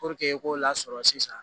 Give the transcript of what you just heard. i k'o lasɔrɔ sisan